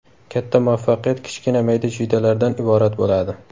Katta muvaffaqiyat kichkina mayda-chuydalardan iborat bo‘ladi.